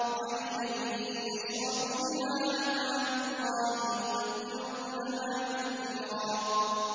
عَيْنًا يَشْرَبُ بِهَا عِبَادُ اللَّهِ يُفَجِّرُونَهَا تَفْجِيرًا